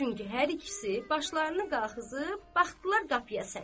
Çünki hər ikisi başlarını qalxızıb, baxdılar qapıya sarı.